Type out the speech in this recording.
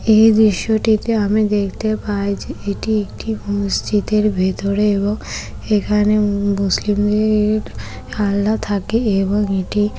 এই দৃশ্যটিতে আমি দেখতে পাই যেএটি একটি মসজিদের ভেতরে এবং এখানে মু-মুসলিমদের- আল্লা থাকে এবং এটি--